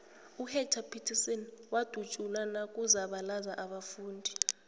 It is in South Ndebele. uhector peterson wadutsulwa nakuzabalaza abafundi